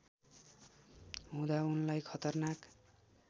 हुँदा उनलाई खतरनाक